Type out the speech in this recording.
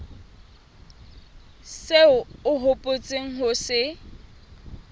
seo o hopotseng ho se